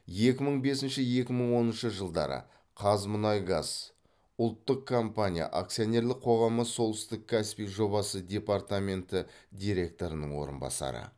екі мың бесінші екі мың оныншы жылдары қазмұнайгаз ұлттық компания акционерлік қоғамы солтүстік каспий жобасы департаменті директорының орынбасары